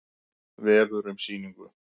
Vefur um sýninguna